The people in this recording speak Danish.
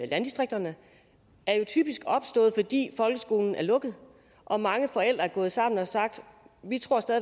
landdistrikterne typisk er opstået fordi folkeskolen er lukket og mange forældre er gået sammen og har sagt vi